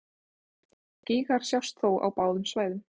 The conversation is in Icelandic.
Gígar sjást þó á báðum svæðum.